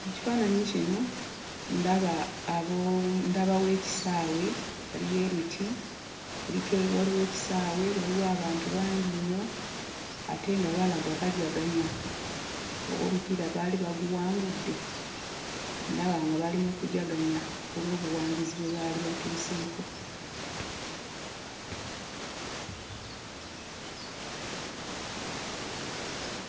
Mu kifaananyi kino ndaba abo ndabawo ekisaawe, waliyo emiti kuliko waliwo ekisaawe, waliwo abantu bangi nnyo ate nga balaga bajaganya. Oba omupiira bali baguwangudde? Ndaba nga bali mu kujaganya ku lw'obuwanguzi bwe baali batuuseeko.